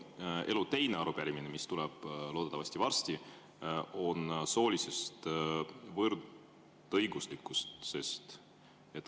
Minu elu teine arupärimine, mis tuleb loodetavasti varsti, on soolise võrdõiguslikkuse kohta.